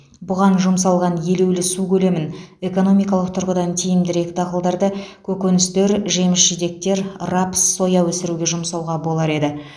бұған жұмсалған елеулі су көлемін экономикалық тұрғыдан тиімдірек дақылдарды көкөністер жеміс жидектер рапс соя өсіруге жұмсауға болар еді